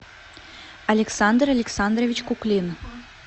александр александрович куклин